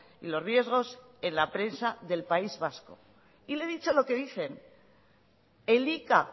y los riesgos en la prensa del país vasco y le he dicho lo que dicen elika